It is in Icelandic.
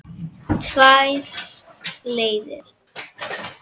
Tvær leiðir.